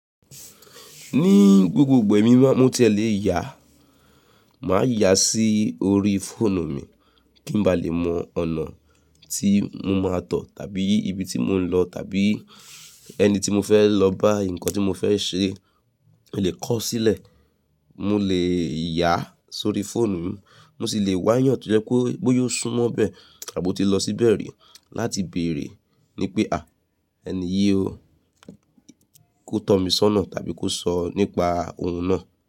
Ní gbogbo igba emí ni maa, mó tie lè yà a, màa yà a sí orí fóònù mi, ki n bá le mọ ọ̀nà tì mó má tọ̀, tàbí ìbí ti mó n lọ, tàbí ẹni ti mó fè lọ bá, nkàn ti mó fè ṣè, mó lè kọ o sílẹ, mó lè yà a sórí fóònù mi, mó ṣì lè wàyàn to jẹ pé bóya ò súmọ́ bẹ, à bó ti lọ síbẹ ri, láti bèèrè, ní pé à ẹni yii ó, kó tọ̀ mi sọnà, tàbí kó sọ nípa ohun náà.